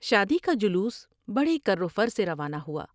شادی کا جلوس بڑے کروفر سے روانہ ہوا ۔